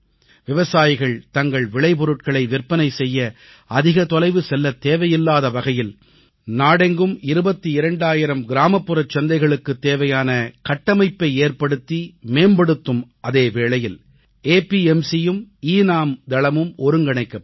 விவசாயிகள் தங்கள் விளைபொருட்களை விற்பனை செய்ய அதிக தொலைவு செல்லத் தேவையில்லாத வகையில் நாடெங்கும் 22000 கிராமப்புறச் சந்தைகளுக்குத் தேவையான கட்டமைப்பை ஏற்படுத்தி மேம்படுத்தும் அதே வேளையில் APMCயும் எனம் தளமும் ஒருங்கிணைக்கப்படும்